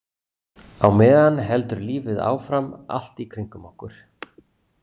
Á meðan heldur lífið áfram allt í kringum okkur.